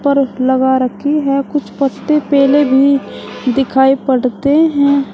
कुछ लगा रखी है कुछ पत्ते पीले भी दिखाई पड़ते हैं।